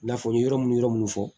I n'a fɔ n ye yɔrɔ mun yɔrɔ minnu fɔ